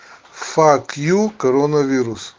фак ю коронавирус